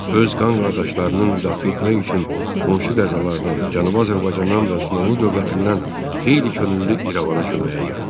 Öz qan qardaşlarını müdafiə etmək üçün qonşu qəzalardan, Cənubi Azərbaycandan və Osmanlı dövlətindən xeyli könüllü İrəvana köməyə gəldi.